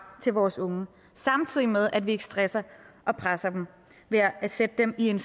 til vores unge samtidig med at vi ikke stresser og presser dem ved at sætte dem i en